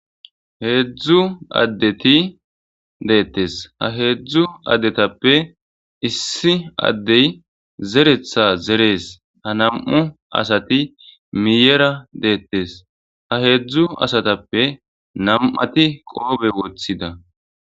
Hedzu adeti detese ha dedzhu adetappe issi adey zeretha zerese ha nam'u asati miyera detese ha hedzu asatape nam'ati qofe wothida